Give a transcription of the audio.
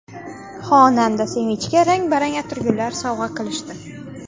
Xonanda Sevinchga rang-barang atirgullar sovg‘a qilishdi.